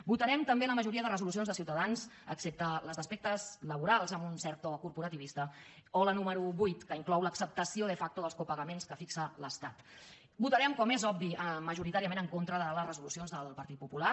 votarem també la majoria de resolucions de ciutadans excepte les d’aspectes laborals amb un cert to corporativista o la número vuit que inclou l’acceptació de factorem com és obvi majoritàriament en contra de les resolucions del partit popular